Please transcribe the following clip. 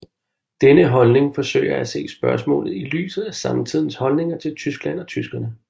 Denne holdning forsøger at se spørgsmålet i lyset af samtidens holdninger til Tyskland og tyskerne